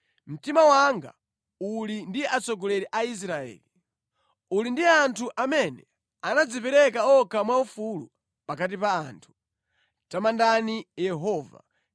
Mtima wanga uli ndi atsogoleri a Israeli, uli ndi anthu amene anadzipereka okha mwaufulu pakati pa anthu. Tamandani Yehova!